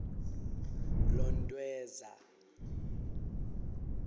lontweza